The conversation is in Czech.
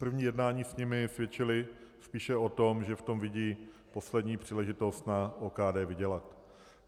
První jednání s nimi svědčila spíše o tom, že v tom vidí poslední příležitost na OKD vydělat.